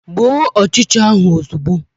Gbuo ọchịcha ahụ ozugbo!